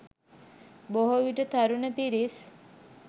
බොහෝ විට තරුණ පිරිස්.